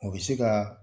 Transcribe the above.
O bɛ se ka